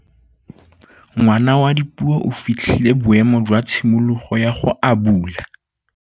Ngwana wa Dipuo o fitlhile boêmô jwa tshimologô ya go abula.